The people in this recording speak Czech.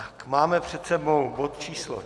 Máme před sebou bod číslo